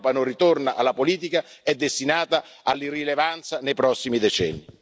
Se l'Europa non ritorna alla politica è destinata all'irrilevanza nei prossimi decenni.